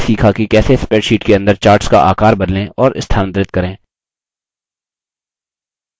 हमने यह भी सीखा कि कैसे spreadsheet के अंदर charts का आकार बदलें और स्थानांतरित करें